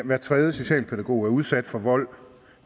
hver tredje socialpædagog er udsat for vold